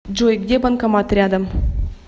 джой где банкомат рядом